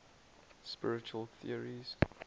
spiritual theories